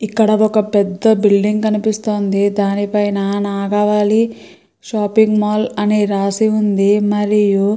ఇక్కడ ఒక పెద్ద బిల్డింగు కనిపిస్తుంది. దాని పైన నాగావళి షాపింగ్ మాల్ అని రాసి ఉంది మరియు --